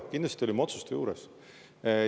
Kindlasti olime otsuste juures.